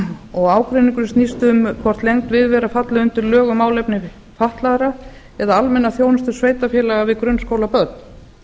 og ágreiningurinn snýst um hvort lengd viðveru falli undir lög um málefni fatlaðra eða almenna þjónustu sveitarfélaga við grunnskólabörn